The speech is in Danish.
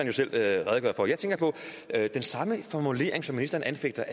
jo selv redegøre for jeg tænker på at den samme formulering som ministeren anfægter